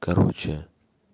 короче